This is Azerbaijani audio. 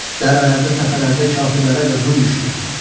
Dərələrdə, təpələrdə kafirlərə qırğın düşdü.